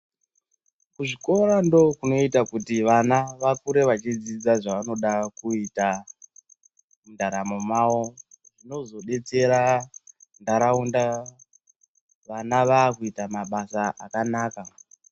Kuzvikora ndoo kunoita kuti ana akure achidzidza zvavanoda kuita mundaramo mavo. Zvinozodetsera ntaraunda vana vave kuita mabasa akanaka.